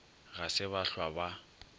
ga se ba hlwa ba